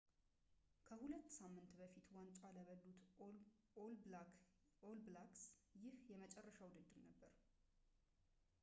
ከሁለት ሳምንት በፊት ዋንጫ ለበሉት ኦል ብላክስ ይሄ የመጨረሻ ውድድር ነበር